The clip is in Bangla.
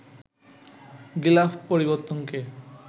গিলাফ পরিবর্তনকে